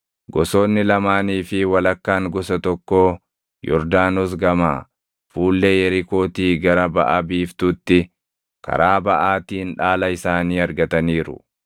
Gosoonni lamaanii fi walakkaan gosa tokkoo Yordaanos gamaa, fuullee Yerikootii gara baʼa biiftuutti karaa baʼaatiin dhaala isaanii argataniiru.”